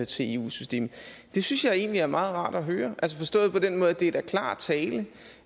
til eu systemet det synes jeg egentlig er meget rart at høre altså forstået på den måde at det er klar tale